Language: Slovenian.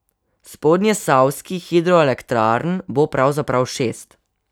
Spodnjesavskih hidroelektrarn bo pravzaprav šest.